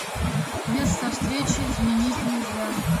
место встречи изменить нельзя